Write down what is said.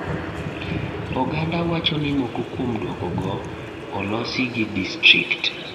Oganda wacho ni moko kuom duoko go olosi gi district.